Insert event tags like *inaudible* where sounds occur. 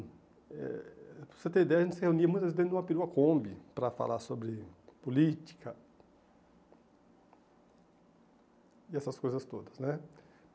Eh para você ter ideia, a gente se reunia muitas vezes dentro de uma *unintelligible* combe para falar sobre política e essas coisas todas, né?